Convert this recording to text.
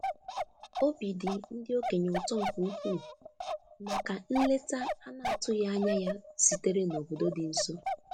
Obi dị ndị okenye ụtọ nke ukwuu maka nleta a na-atụghị anya ya sitere n’obodo dị nso.